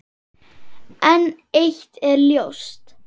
En eitt er ljóst.